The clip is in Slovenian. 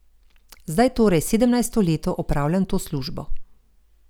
Zdaj torej sedemnajsto leto opravljam to službo.